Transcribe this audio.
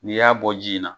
N'i y'a bɔ ji in na